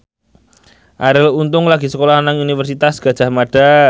Arie Untung lagi sekolah nang Universitas Gadjah Mada